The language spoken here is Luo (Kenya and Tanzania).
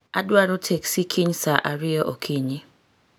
Adwaro teksi kiny saa ariyo okinyi